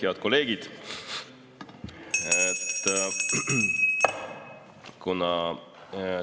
Head kolleegid!